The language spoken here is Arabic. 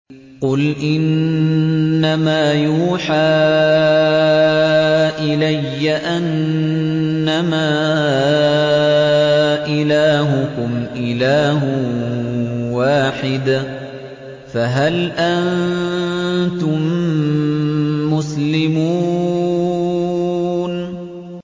قُلْ إِنَّمَا يُوحَىٰ إِلَيَّ أَنَّمَا إِلَٰهُكُمْ إِلَٰهٌ وَاحِدٌ ۖ فَهَلْ أَنتُم مُّسْلِمُونَ